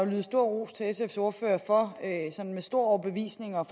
lyde stor ros til sfs ordfører for med stor overbevisning at